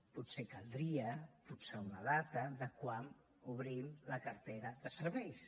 potser caldria fixar una data de quan obrim la cartera de serveis